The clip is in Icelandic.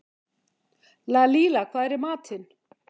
Lalíla, hvað er í matinn?